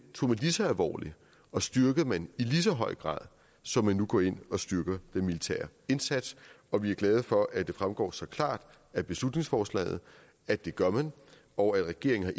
tog man lige så alvorligt og styrkede man i lige så høj grad som man nu går ind og styrker den militære indsats og vi er glade for at det fremgår så klart af beslutningsforslaget at det gør man og at regeringen